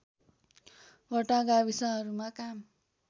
वटा गाविसहरूमा काम